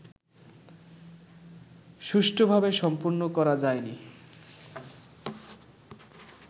সুষ্ঠুভাবে সম্পন্ন করা যায়নি